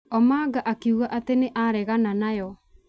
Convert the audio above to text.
Omanga akiuga atĩ nĩ aregana nayo.